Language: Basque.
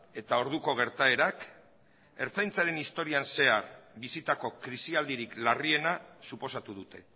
eta orduko gertaerak ertzaintzaren historian zehar bizitako krisialdirik larriena suposatu dute